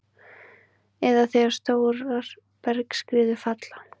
eða þegar stórar bergskriður falla.